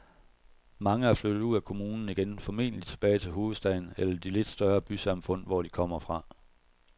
Mange er flyttet ud af kommunen igen, formentlig tilbage til hovedstaden eller de lidt større bysamfund, hvor de kom fra.